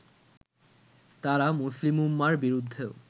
তারা মুসলিম উম্মার বিরুদ্ধেও